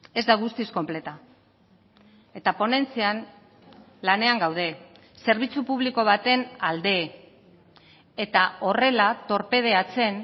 ez da guztiz konpleta eta ponentzian lanean gaude zerbitzu publiko baten alde eta horrela torpedeatzen